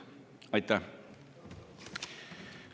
Aitäh!